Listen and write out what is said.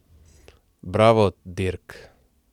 Bravo, Dirk!